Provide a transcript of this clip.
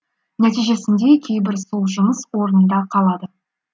нәтижесінде кейбірі сол жұмыс орнында қалады